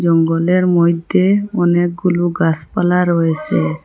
জঙ্গলের মইদ্যে অনেকগুলো গাসপালা রয়েসে।